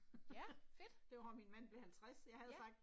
ja, fedt. Ja